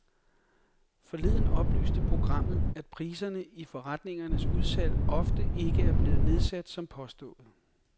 Forleden oplyste programmet, at priserne i forretningernes udsalg ofte ikke er blevet nedsat som påstået.